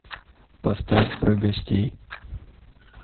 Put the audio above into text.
поставь про гостей